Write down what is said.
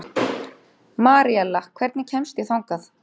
Maríella, hvernig kemst ég þangað?